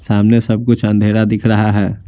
सामने सब कुछ अंधेरा दिख रहा है।